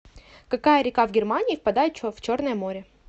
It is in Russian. какая река в германии впадает в черное море